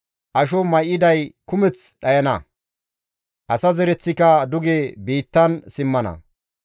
asho may7iday kumeth dhayana; asa zereththika duge biittan simmana.